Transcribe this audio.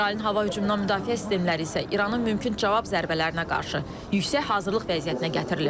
İsrailin hava hücumundan müdafiə sistemləri isə İranın mümkün cavab zərbələrinə qarşı yüksək hazırlıq vəziyyətinə gətirilib.